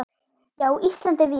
Já, Ísland er víða.